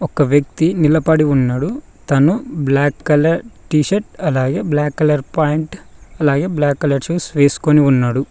ఒక వ్యక్తి నిలబడి ఉన్నాడు తను బ్లాక్ కలర్ టీ షర్ట్ అలాగే బ్లాక్ కలర్ పాయింట్ అలాగే బ్లాక్ కలర్ షూస్ వేసుకొని ఉన్నాడు.